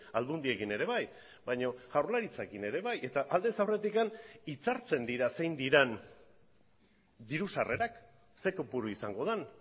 aldundiekin ere bai baina jaurlaritzarekin ere bai eta aldez aurretik hitzartzen dira zein diren diru sarrerak ze kopuru izango den